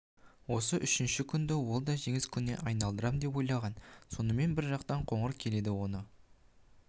осы үшінші күнді ол да жеңіс күніне айналдырам деп ойлаған сонымен бір жақтан қоңыр келеді оны